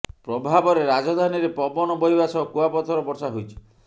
ପ୍ରଭାବରେ ରାଜଧାନୀରେ ପବନ ବହିବା ସହ କୁଆପଥର ବର୍ଷା ହୋଇଛି